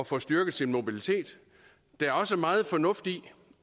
får styrket sin mobilitet der er også meget fornuft i